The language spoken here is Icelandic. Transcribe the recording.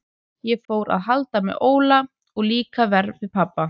Ég fór að halda með Óla og líka verr við pabba.